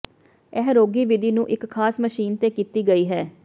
ਇਹ ਰੋਗੀ ਵਿਧੀ ਨੂੰ ਇੱਕ ਖਾਸ ਮਸ਼ੀਨ ਤੇ ਕੀਤੀ ਗਈ ਹੈ